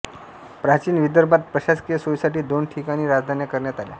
प्राचीन विदर्भात प्रशासकीय सोयीसाठी दोन ठिकाणी राजधान्या करण्यात आल्या